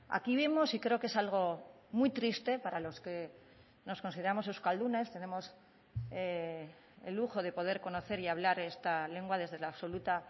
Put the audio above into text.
aquí vemos y creo que es algo muy triste para los que nos consideramos euskaldunes tenemos el lujo de poder conocer y hablar esta lengua desde la absoluta